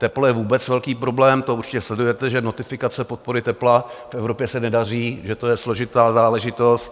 Teplo je vůbec velký problém, to určitě sledujete, že notifikace podpory tepla v Evropě se nedaří, že to je složitá záležitost.